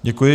Děkuji.